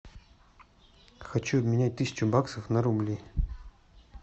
хочу обменять тысячу баксов на рубли